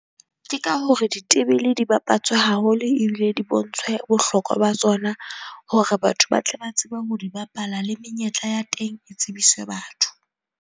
Ke ka hore ditebele di bapatswe haholo ebile di bontshwe bohlokwa ba tsona hore batho ba tle ba tsebe ho di bapala. Le menyetla ya teng e tsebiswe batho.